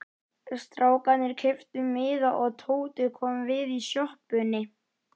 Strákarnir keyptu miða og Tóti kom við í sjoppunni.